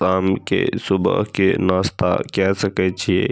शाम के सुबह के नाश्ता काय सके छी।